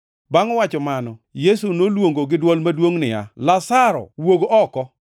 Bangʼ wacho mano, Yesu noluongo gi dwol maduongʼ niya, “Lazaro, wuog oko!”